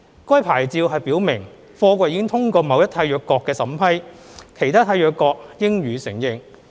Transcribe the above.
該牌照表明貨櫃已通過某一締約國的審批，其他締約國應予承認。